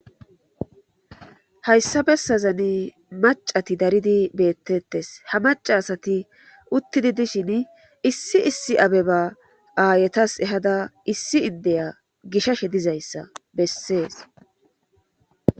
Hayssa bessazani macati daridi beettettes ha maca asati uttidi dishin issi issi abeba aayetas ehada issi iddeya gishashe dizayssa bessees